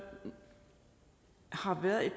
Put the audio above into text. har været her